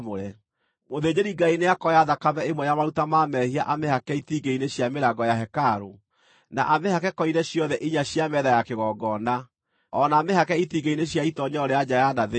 Mũthĩnjĩri-Ngai nĩakooya thakame ĩmwe ya maruta ma mehia amĩhake itingĩ-inĩ cia mĩrango ya hekarũ, na amĩhake koine ciothe inya cia metha ya kĩgongona, o na amĩhake itingĩ-inĩ cia itoonyero rĩa nja ya na thĩinĩ.